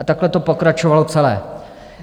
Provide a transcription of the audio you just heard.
A takhle to pokračovalo celé.